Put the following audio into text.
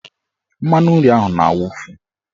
Mmanụnri ahụ na-awufu.